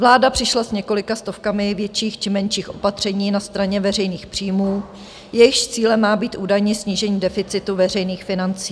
Vláda přišla s několika stovkami větších či menších opatření na straně veřejných příjmů, jejichž cílem má být údajně snížení deficitu veřejných financí.